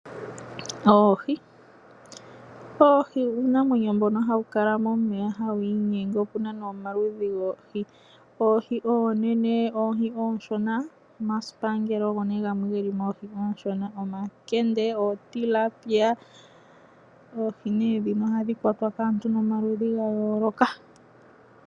Oohi. Oohi uunamwenyo mbono hawu kala momeya hawu inyenge . Opuna omaludhi goohi ngaashi oohi oonene ,oohi ooshona ,omasibanker ogo gelimo oohi oonshona, omakendee . Oohi nee dhino ohadhi kwatwa kaantu yomaludhi ga yooloka.